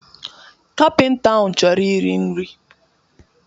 Kapịnta ahụ chọrọ iri nri